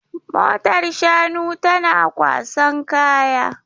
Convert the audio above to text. Motar shanu tana kwasan kaya.